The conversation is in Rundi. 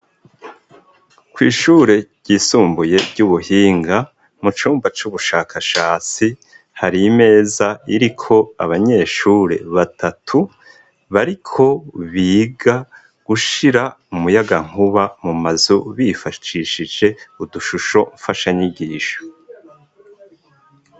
Kw'ishure ryisumbuye ry'ubuhinga mu cumba c'ubushakashatsi hari imeza iriko abanyeshure batatu bari ko biga gushira umuyaga nkuba mu mazu bifashishije udushusho mfasha nyigisho abiko.